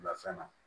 Bila fɛn na